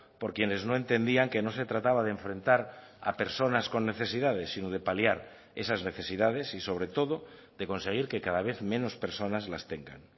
por quienes no entendían que no se trataba de enfrentar a personas con necesidades sino de paliar esas necesidades y sobre todo de conseguir que cada vez menos personas las tengan